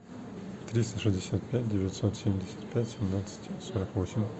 триста шестьдесят пять девятьсот семьдесят пять семнадцать сорок восемь